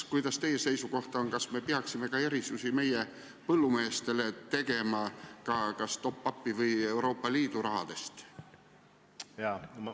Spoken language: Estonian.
Kuidas teie seisukoht on, kas me peaksime tegema meie põllumeestele kas top-up'i või Euroopa Liidu rahast erandeid?